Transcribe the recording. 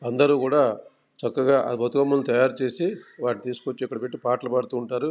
అందరూ కూడా చక్కగా బతుకమ్మను తయారుచేసి వాటిని తీసుకొచ్చి పాటలు పాడుతూ ఉంటారు.